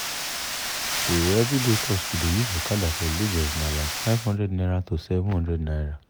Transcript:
to everyday cost to dey use okada for lagos na like n500 to n700